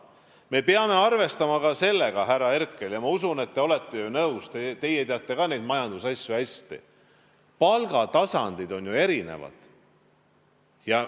Me peame arvestama ka sellega, härra Herkel – ma usun, et te olete ju nõus, teie teate ka neid majandusasju hästi –, et palgatasemed on erinevad.